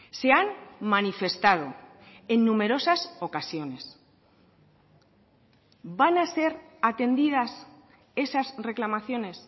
se han manifestado en numerosas ocasiones van a ser atendidas esas reclamaciones